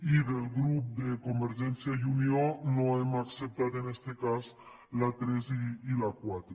i del grup de convergència i unió no hem acceptat en este cas la tres i la quatre